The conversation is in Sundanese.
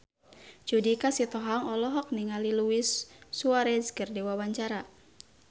Judika Sitohang olohok ningali Luis Suarez keur diwawancara